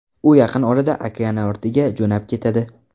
U yaqin orada okeanortiga jo‘nab ketadi.